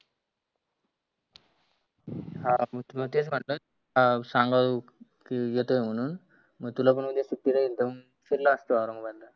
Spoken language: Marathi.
हा मी तुला तेच म्हटलं अं सांगाव की येतोय म्हणुन मग तुला पण उद्या सुट्टी राहिल तर फिरलो असतो औरंगाबाद.